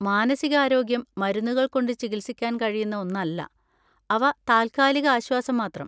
മാനസികാരോഗ്യം മരുന്നുകൾ കൊണ്ട് ചികിത്സിക്കാൻ കഴിയുന്ന ഒന്നല്ല, അവ താൽക്കാലിക ആശ്വാസം മാത്രം.